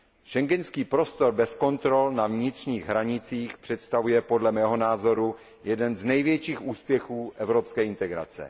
Schengenský prostor bez kontrol na vnitřních hranicích představuje podle mého názoru jeden z největších úspěchů evropské integrace.